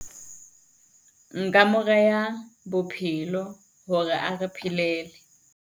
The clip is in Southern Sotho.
Nka mo reha Bophelo hore a re phelele.